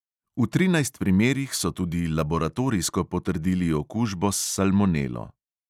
V trinajst primerih so tudi laboratorijsko potrdili okužbo s salmonelo.